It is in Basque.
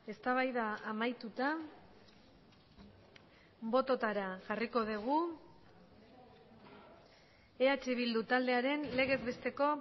eztabaida amaituta bototara jarriko dugu eh bildu taldearen legez besteko